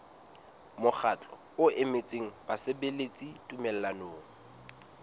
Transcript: mokgatlo o emetseng basebeletsi tumellanong